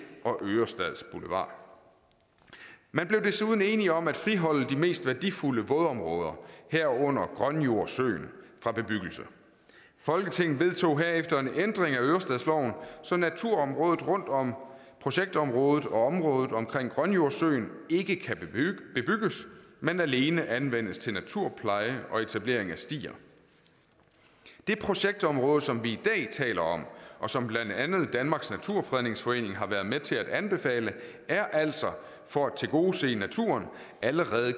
og ørestads boulevard man blev desuden enig om at friholde de mest værdifulde vådområder herunder grønjordssøen fra bebyggelse folketinget vedtog herefter en ændring af ørestadsloven så naturområdet rundt om projektområdet og området omkring grønjordssøen ikke kan bebygges men alene anvendes til naturpleje og etablering af stier det projektområde som vi i dag taler om og som blandt andet danmarks naturfredningsforening har været med til at anbefale er altså for at tilgodese naturen allerede